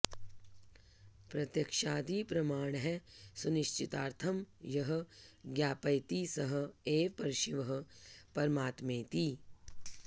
प्रत्यक्षादि प्रमाणैः सुनिश्चितार्थं यः ज्ञापयति सः एव परशिवः परमात्मेति